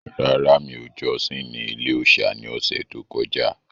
Rárá, mi ò jọ́sìn ní ilé-òòsà ní ọ̀sẹ̀ tó kọjá